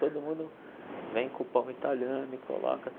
Todo mundo vem com o pão italiano e coloca.